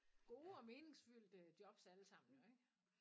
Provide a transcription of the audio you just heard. Gode og meningsfyldte jobs alle sammen jo ik